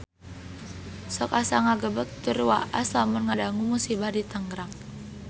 Sok asa ngagebeg tur waas lamun ngadangu musibah di Tangerang